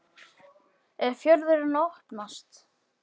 Gísli Óskarsson: Er fjörðurinn að opnast?